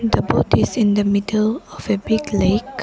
The boat is in the middle of a big lake.